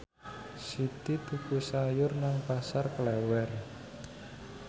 Siti tuku sayur nang Pasar Klewer